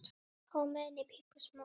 Hversu margir reykja?